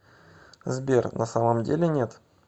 сбер на самом деле нет